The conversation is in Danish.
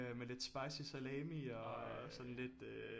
Med lidt spicy salami og sådan lidt øh